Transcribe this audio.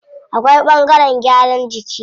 Akwai ɓangaren gyaran jiki.